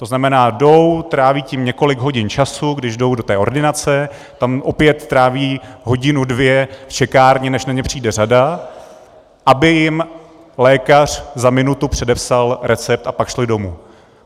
To znamená, jdou, tráví tím několik hodin času, když jdou do té ordinace, tam opět tráví hodinu dvě v čekárně, než na ně přijde řada, aby jim lékař za minutu předepsal recept a pak šli domů.